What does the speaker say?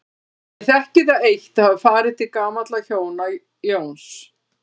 Ég þekkti það eitt að hafa farið til gamalla hjóna, Jóns